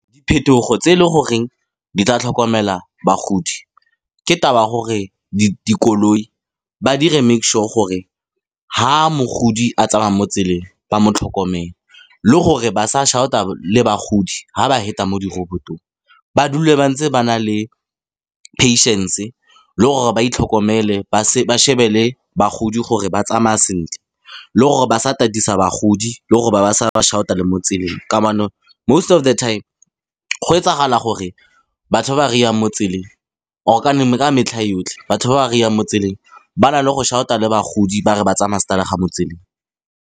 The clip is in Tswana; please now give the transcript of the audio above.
Phetogo tse leng goreng di tla tlhokomela bagodi, ke taba ya gore dikoloi, ba dire make sure gore ha mogodi a tsamaya mo tseleng ba mo tlhokomele, le gore ba sa shout-a le bagodi ha ba feta mo dirobotong. Ba dule ba ntse ba na le patience, le gore ba itlhokomele ba shebe le bagodi gore ba tsamaya sentle. Le gore ba sa tatisa bagodi le gore ba ba sa ba shout-a le mo tseleng kamano. Most of the time go etsagala gore batho ba ba ry-ang mo tseleng or ka metlha yotlhe, batho ba ba ry-ang mo tseleng ba na le go shout-a le bagodi ba re ba tsaya stadig mo tseleng.